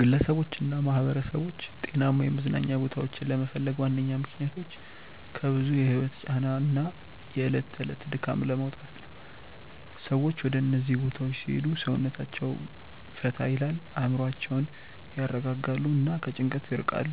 ግለሰቦችና ማኅበረሰቦች ጤናማ የመዝናኛ ቦታዎችን ለመፈለግ ዋነኛ ምክንያቶች ከብዙ የህይወት ጫና እና የዕለት ተዕለት ድካም ለመውጣት ነው። ሰዎች ወደ እነዚህ ቦታዎች ሲሄዱ ሰውነታቸውን ፈታ ይላል፣ አእምሮአቸውን ያረጋጋሉ እና ከጭንቀት ይርቃሉ።